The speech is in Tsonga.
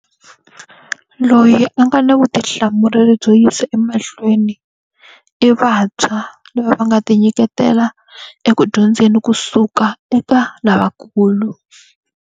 Loyi a nga na vutihlamuleri byo yisa emahlweni, i vantshwa lava va nga tinyiketela eku dyondzeni kusuka eka lavakulu.